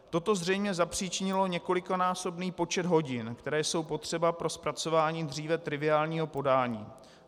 Toto zřejmě zapřičinilo několikanásobný počet hodin, které jsou potřeba pro zpracování dříve triviálního podání.